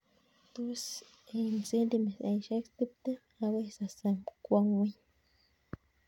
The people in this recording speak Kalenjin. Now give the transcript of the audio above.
Tos ek cendimitaishek tiptem agoii sosom kwo ng'weny